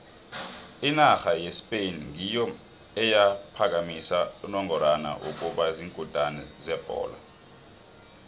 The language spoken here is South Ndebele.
inarha yespain ngiyo eyaphakamisa unongorwana wokuba ziinkutini zebholo